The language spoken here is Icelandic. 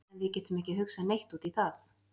En við getum ekki hugsað neitt út í það.